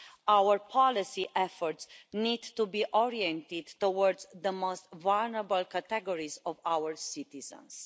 Our policy efforts need to be oriented towards the most vulnerable categories of our citizens.